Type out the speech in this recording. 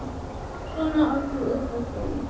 Svona allir upp á borð